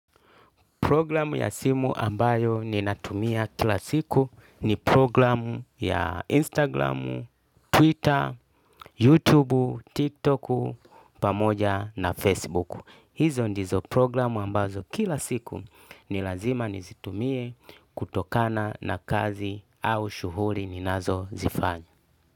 Program ya simu ambayo ninatumia kila siku, ni program ya Instagram, Twitter, YouTubu, TikToku, pamoja na Facebook. Hizo ndizo program ambazo kila siku nilazima nizitumie kutokana na kazi, au shuhuri ninazo zifanya.